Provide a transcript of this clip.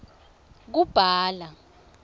kubhala